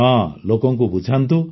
ହଁ ଲୋକଙ୍କୁ ବୁଝାନ୍ତୁ